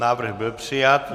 Návrh byl přijat.